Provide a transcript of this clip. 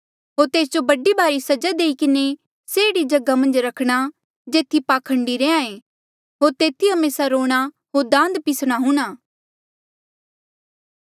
होर तेस जो बड़ी भारी सजा देई किन्हें से एह्ड़ी जगहा मन्झ रखणा जेथी पाखंडी रैहया ऐ होर तेथी हमेसा रोणा होर दांत पिसणा हूंणां